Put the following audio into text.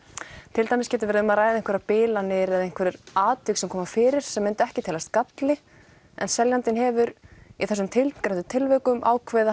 til dæmis getur verið um að ræða einhverjar bilanir eða einhver atvik sem koma fyrir sem myndu ekki teljast galli en seljandinn hefur í þessum tilgreindu tilvikum ákveðið að